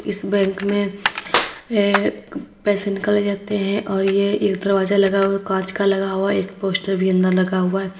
इस बैंक में ये पैसे निकाले जाते हैं और यह एक दरवाजा कांच का लगा हुआ एक पोस्टर भी अंदर लगा हुआ है।